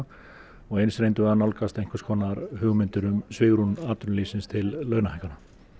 og eins reyndum við að nálgast einhvers konar hugmyndir um svigrúm atvinnulífsins til launahækkana